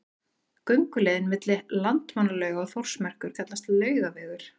Gönguleiðin milli Landmannalauga og Þórsmerkur kallast Laugavegur.